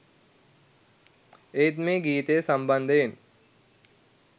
ඒත් මේ ගීතය සම්බන්ධයෙන්